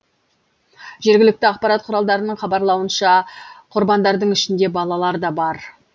жергілікті ақпарат құралдарының хабарлауынша құрбандардың ішінде балалар да бар